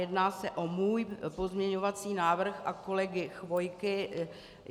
Jedná se o můj pozměňovací návrh a kolegy Chvojky.